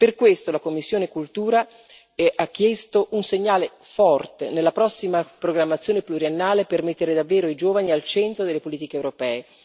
Per questo la commissione per la cultura e l'istruzione ha chiesto un segnale forte nella prossima programmazione pluriennale, per mettere davvero i giovani al centro delle politiche europee.